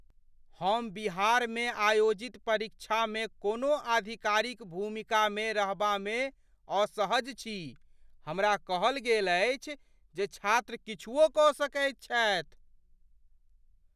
हम बिहारमे आयोजित परीक्षामे कोनो आधिकारिक भूमिकामे रहबामे असहज छी। हमरा कहल गेल अछि जे छात्र किछुओ कऽ सकैत छथि।